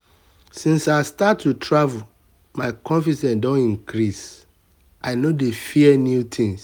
since i start to travel my confidence don increase i no dey fear new tins.